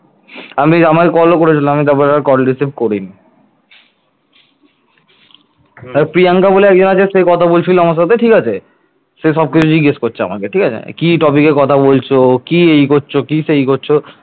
প্রিয়াঙ্কা বলে একজন আছে সে কথা বলছিল আমার সাথে ঠিক আছে সে সবকিছু জিজ্ঞাসা করছে আমাকে, ঠিক আছে কি topic কথা বলছো? কি এই করছ কি সেই করছো